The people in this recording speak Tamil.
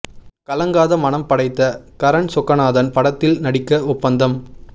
கலங்காத மனம் படைத்த கரண் சொக்கநாதன் படத்தில் நடிக்க ஒப்பந்தம்